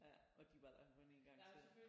Ja og de var der kun en gang selv